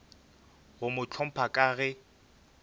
go mo hlompha ka ge